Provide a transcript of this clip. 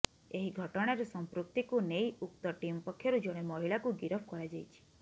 ଏହି ଘଟଣାରେ ସମ୍ପୃକ୍ତିକୁ ନେଇ ଉକ୍ତ ଟିମ୍ ପକ୍ଷରୁ ଜଣେ ମହିଳାଙ୍କୁ ଗିରଫ କରାଯାଇଛି